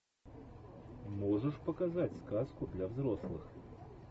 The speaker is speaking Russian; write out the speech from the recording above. можешь показать сказку для взрослых